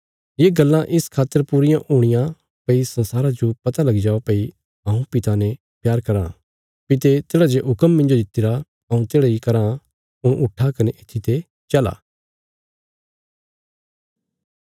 ये गल्लां इस खातर पूरियां हुणियां भई संसारा जो पता लगी जाओ भई हऊँ पिता ने प्यार कराँ पिता तेढ़ा जे हुक्म मिन्जो दितिरा हऊँ तेढ़ा ही कराँ हुण उट्ठा कने येत्थीते चला